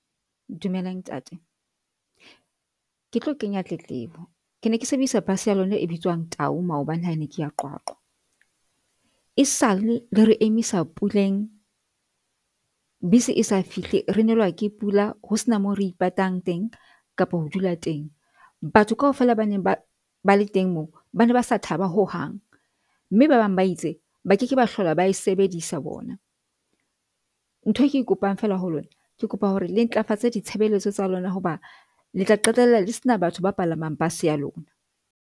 Dumelang ntate, ke tlo kenya tletlebo. Ke ne ke sebedisa bus ya lona e bitswang Tau maobane hane ke ya Qwaqwa e sale le re emisa puleng. Bese esa fihle re nelwa ke pula ho sena moo re ipatang teng kapo ho dula teng. Batho kaofela ba neng ba bale teng moo bane ba sa thaba ho hang mme ba bang ba itse ba ke ke ba hlola ba e sebedisa bona. Ntho e ke kopang fela ho lona, ke kopa hore le ntlafatsa ditshebeletso tsa lona hoba le tla qetella le sena batho ba palamang bus ya lona.